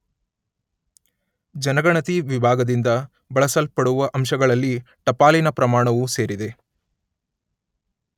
ಜನಗಣತಿ ವಿಭಾಗದಿಂದ ಬಳಸಲ್ಪಡುವ ಅಂಶಗಳಲ್ಲಿ ಟಪಾಲಿನ ಪ್ರಮಾಣವು ಸೇರಿದೆ.